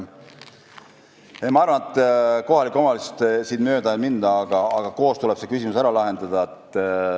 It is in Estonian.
Nii et kohalikust omavalitsusest mööda ei minda, koos tuleb see küsimus ära lahendada.